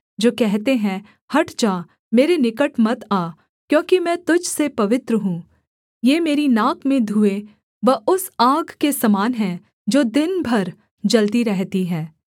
जो कहते हैं हट जा मेरे निकट मत आ क्योंकि मैं तुझ से पवित्र हूँ ये मेरी नाक में धुएँ व उस आग के समान हैं जो दिन भर जलती रहती है विद्रोहियों को दण्ड